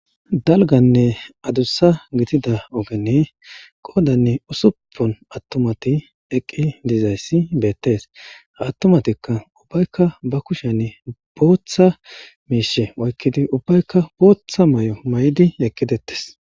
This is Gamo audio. Dalganne adussa gitida ogenne qoodanne usuppon attumati eqqi dizayssi beettees hattumatikka ubbaykka ba kushan booththa miishe oykkidi ubbaykka booththa may'o may'di eqqidettes.